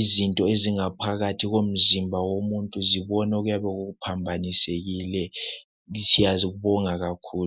izinto ezingabonwa phakathi komzimba womuntu zibone okuyabe kuphambanisekile siyazibonga kakhulu